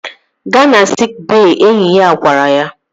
Gaa na siik bey! Enyi ya gwara ya